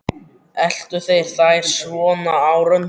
Eltu þeir þær svona á röndum?